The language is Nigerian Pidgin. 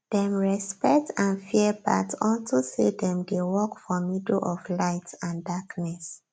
dem respect and fear bat unto say dem dey walk for middle of light and darkness